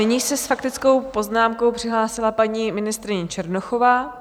Nyní se s faktickou poznámkou přihlásila paní ministryně Černochová.